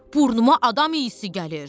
Burnuma adam iysi gəlir.